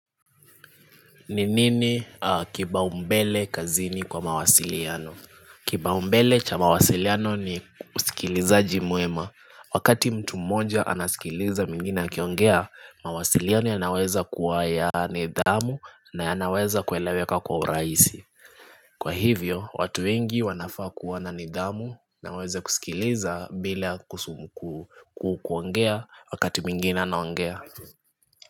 Ninini kiba umbele kazini kwa mawasiliano Kipaumbele cha mawasiliano ni usikilizaji mwema Wakati mtu mmoja anasikiliza mwingine akiongea mawasiliano yanaweza kuwa ya nidhamu na yanaweza kueleweka kwa uraisi Kwa hivyo, watu wengi wanafaa kuwa na nidhamu na waweze kusikiliza bila kusumukuu kuongea wakati mwingine anaongea.